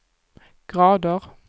grader